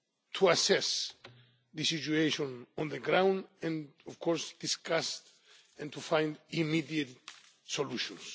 to assess the situation on the ground and, of course, to discuss and find immediate solutions.